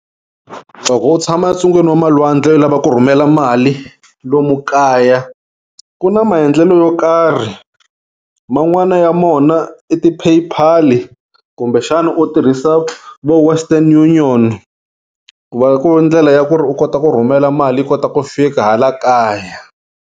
Loko u tshama entsungeni va malwandle u lava ku rhumela mali lomu kaya ku na maendlelo yo karhi man'wana ya mona i ti pay pal kumbe xana u tirhisa vo western union ku va ku ri ndlela ya ku ri u kota ku rhumela mali yi kota ku fika hala kaya.